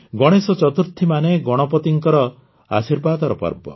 ଗଣେଶ ଚତୁର୍ଥୀ ମାନେ ଗଣପତିଙ୍କର ଆଶୀର୍ବାଦର ପର୍ବ